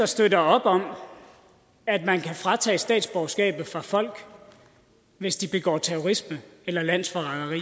støtter op om at man kan tage statsborgerskabet fra folk hvis de begår terrorisme eller landsforræderi